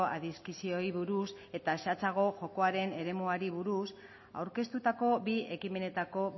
adizioei buruz eta zehatzago jokoaren eremuari buruz aurkeztutako bi ekimenetako